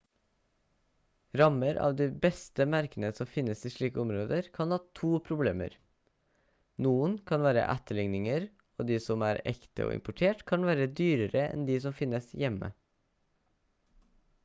rammer av de beste merkene som finnes i slike områder kan ha to problemer noen kan være etterligninger og de som er ekte og importert kan være dyrere enn de som finnes hjemme